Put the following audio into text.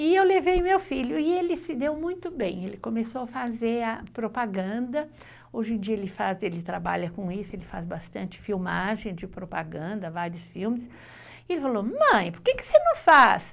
E eu levei meu filho, e ele se deu muito bem, ele começou a fazer a propaganda, hoje em dia ele faz, ele trabalha com isso, ele faz bastante filmagem de propaganda, vários filmes, e ele falou, mãe, por que você não faz?